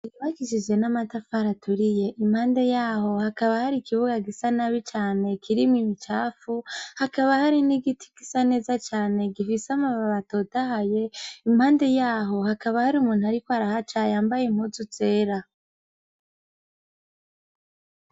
Bakishije n'amatafari aturiye impande yaho hakaba hari ikibuga gisa nabi cane kirimwo bicafu hakaba hari n'igiti gisa neza cane gifise amababa atotahaye impande yaho hakaba hari umuntu, ariko arahaca y’ambaye impuzu zera.